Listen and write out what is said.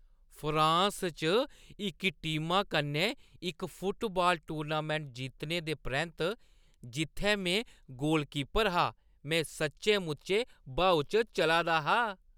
France च इक टीमा कन्नै इक फुटबाल टूर्नामैंट जित्तने दे परैंत्त, जित्थै में गोलकीपर हा, में सच्चें-मुच्चें ब्हाऊ च चला दा हा ।